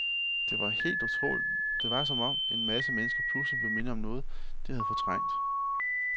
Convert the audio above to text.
Det var helt utroligt, det var som om, en masse mennesker pludselig blev mindet om noget, de havde fortrængt.